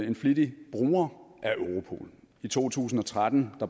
en flittig bruger af europol i to tusind og tretten